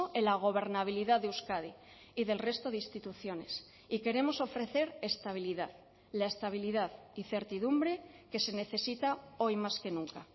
en la gobernabilidad de euskadi y del resto de instituciones y queremos ofrecer estabilidad la estabilidad y certidumbre que se necesita hoy más que nunca